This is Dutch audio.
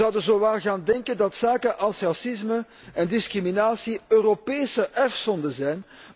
We zouden zowaar gaan denken dat zaken als racisme en discriminatie Europese erfzonden zijn.